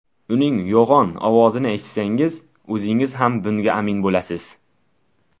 Uning yo‘g‘on ovozini eshitsangiz, o‘zingiz ham bunga amin bo‘lasiz.